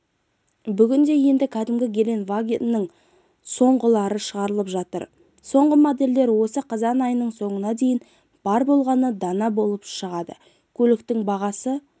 бүгінде енді кәдімгі гелендвагеннің соңғылары шығарылып жатыр соңғы модельдер осы қазан айының соңына дейін бар болғаны дана болып шығады көліктің бағасы